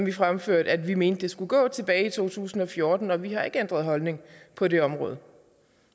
vi fremførte vi mente det skulle gå tilbage i to tusind og fjorten og vi har ikke ændret holdning på det område